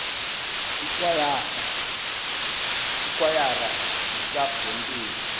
ikwayara iiklabhu zempilo